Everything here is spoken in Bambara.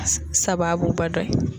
sababuba dɔ ye.